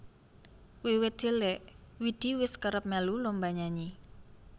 Wiwit cilik Widi wis kerep melu lomba nyanyi